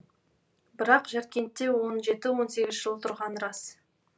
бірақ жаркентте он жеті он сегіз жыл тұрғаны рас